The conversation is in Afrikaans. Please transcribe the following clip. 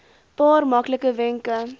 paar maklike wenke